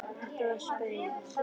Þetta var spaug